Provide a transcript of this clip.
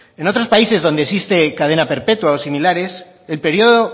en otros países donde existe cadena perpetua o similares el periodo